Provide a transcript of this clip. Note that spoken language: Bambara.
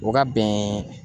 O ka bɛn